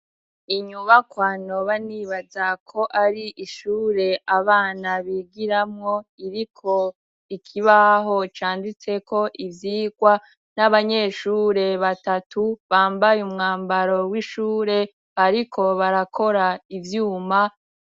Inyubakwa noba nibaza ko ari ishure abana bigiramwo iriko ikibaho canditseko ivyigwa n'abanyeshure batatu bambaye umwambaro w'ishure bariko barakora ivyuma.